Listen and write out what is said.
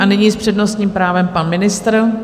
A nyní s přednostním právem pan ministr.